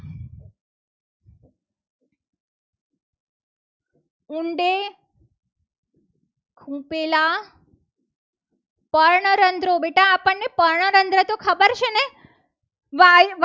ઊંડે ખૂંપેલા પર્ણરંધ્રો બેટા આપણને પર્ણરંધ્ર તો ખબર છે. ને વાયુ